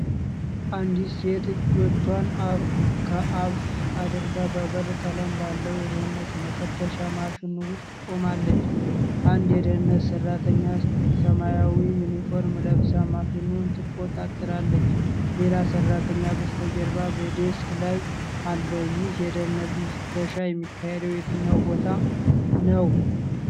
አንዲት ሴት እጆቿን ከፍ አድርጋ በብር ቀለም ባለው የደህንነት መፈተሻ ማሽን ውስጥ ቆማለች። አንድ የደህንነት ሰራተኛ ሰማያዊ ዩኒፎርም ለብሳ ማሽኑን ትቆጣጠራለች። ሌላ ሰራተኛ በስተጀርባ በዴስክ ላይ አለ። ይህ የደህንነት ፍተሻ የሚካሄደው የትኛው ቦታ ነው?